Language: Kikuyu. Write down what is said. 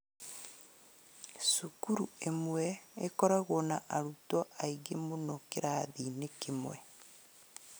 Cukuru ĩmwe ĩkoragwo na arutwo aingĩ mũno kĩrathi-inĩ kĩmwe